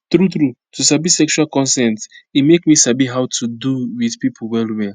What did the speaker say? true true to sabi sexual consent e make me sabi how to do with people well well